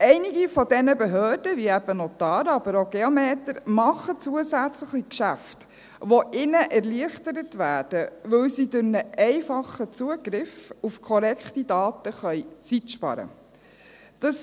Einige dieser Behörden – wie eben die Notare, aber auch die Geometer – machen zusätzliche Geschäfte, die ihnen erleichtert werden, weil sie durch einen einfachen Zugriff auf korrekte Daten Zeit sparen können.